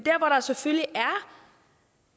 er selvfølgelig